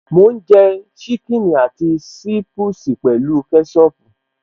Mò ń jẹ ṣíkìnnì àti ṣiipusi pẹ̀lú kẹ́ṣọpù